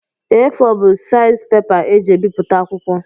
A4 bụ seizi pepa e ji ebiputa akwụkwọ